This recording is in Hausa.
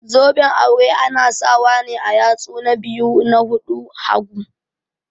Zoben aure ana sawa ne a yatsu na biyu na hanun hagu.